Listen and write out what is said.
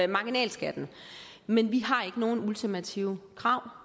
marginalskatten men vi har ikke nogen ultimative krav